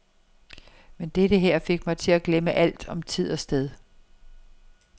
Men dette her fik mig til at glemme alt om tid og sted.